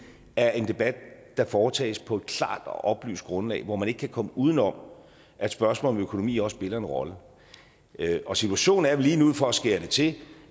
er en debat der foretages på et klart og oplyst grundlag hvor man ikke kan komme uden om at spørgsmål om økonomi også spiller en rolle og situationen er vel lige nu for at skære det til